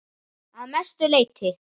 Að mestu leyti